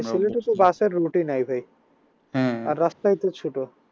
bus এর route ই নাই ভাই আর রাস্তায় তো ছোট